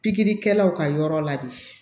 Pikiri kɛlaw ka yɔrɔ la de